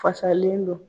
Fasalen don